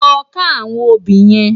Lò ká áwòn óbì yèn